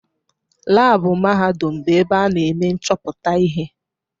Laabụ mahadum bụ ebe ana eme nchọpụta ihe.